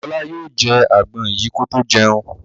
Ọlá yóò jẹ àgbọn yìí kó tó jẹun.